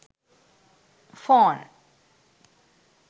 phone